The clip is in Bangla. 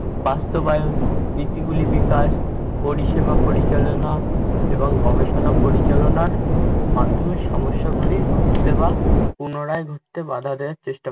বাস্তবায়ন রীতিগুলি বিকাশ, পরিষেবা পরিচালনা এবং গবেষণা পরিচালনার মাধ্যমে সমস্যাগুলির পুনরায় ঘটতে বাধা দেওয়ার চেষ্টা